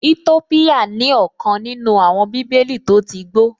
Ètópíyà ní ọ̀kan nínú àwọn bíbélì tó tí gbó